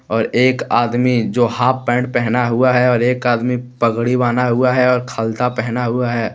और एक आदमी जो हाफ़ पेंट पहना हुआ है और एक आदमी पगड़ी बांधा हुआ है और खलता पहना हुआ है।